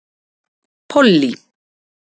Pollý